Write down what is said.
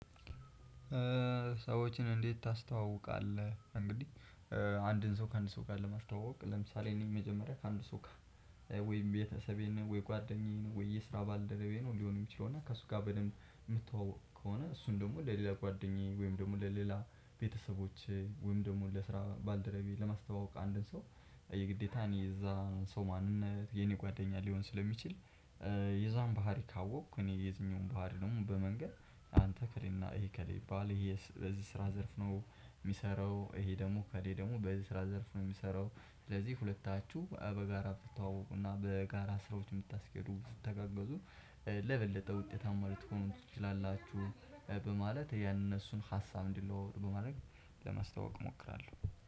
ሰዎችን እንዴት ታስተዋውቃለህ? እንግዲህ አንድን ሰው ከአንድ ሰው ጋር ለማስተዋወቅ ለምሳሌ ነው የመጀመሪያ ከአንድ ሰው ጋር ወይም ቤተሰቤን ወይ ጓደኛዬን ወይ የስራ ባልደረባዬ ነው ሊሆን የሚችለው እና ከሱ ጋር በደንብ የምትተዋወቅ ከሆነ እሱን ደግሞ ለሌላ ጓደኛዬ ወይም ደግሞ ለሌላ ቤተሰቦቼ ወይም ደግሞ ለስራ ባልደረባዬ ለማስተዋወቅ አንድን ሰው። የግዴታን የእዛ ሰው ማንነት የኔ ጓደኛ ሊሆን ስለሚችል። የዛን ባህሪ ካወቅኩ እኔ የዚህኛውን ባህሪ ደግሞ በመንገር አንተ ከሌና ይሄ ከሌ ባልህ ይሄ በዚህ ስራ ዘርፍ ነው። የሚሰራው ይሄ ደግሞ ከሌ ደግሞ በዚህ ስራ ዘርፍ ነው የሚሰራው። ስለዚህ- በጋራ ትተዋወቁና በጋራ ስራዎች የምታስኬዱ የምትተጋገዙ ለበለጠ ውጤታማ ልትሆኑ ትችላላችሁ። በማለት የእነሱን ሀሳብ እንዲለዋወጥ በማድረግ ለማስታወቅ እሞክራለሁ።